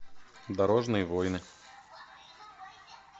дорожные войны